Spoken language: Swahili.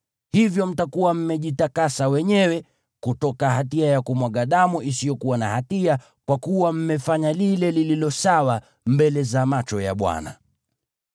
Hivyo mtakuwa mmejitakasa wenyewe kutoka hatia ya kumwaga damu isiyokuwa na hatia, kwa kuwa mmefanya lile lililo sawa mbele za macho ya Bwana .